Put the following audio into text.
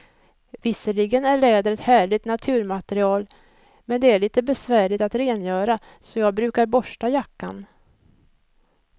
Visserligen är läder ett härligt naturmaterial, men det är lite besvärligt att rengöra, så jag brukar borsta jackan.